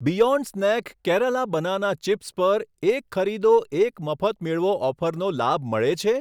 Beyond Snack Kerala banana chips પર 'એક ખરીદો, એક મફત મેળવો' ઓફરનો લાભ મળે છે?